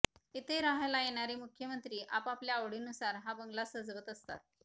इथे राहायला येणारे मुख्यमंत्री आपापल्या आवडीनुसार हा बगला सजवत असतात